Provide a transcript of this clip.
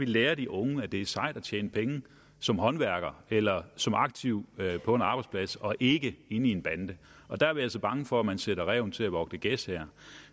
lærer de unge at det er sejt at tjene penge som håndværker eller som aktiv på en arbejdsplads og ikke i en bande der er vi altså bange for at man her sætter ræven til at vogte gæs